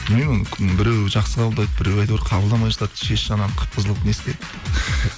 білмеймін оны біреуі жақсы қабылдайды біреуі әйтеуір қабылдамай жатады шешші ананы қып қызыл қылып не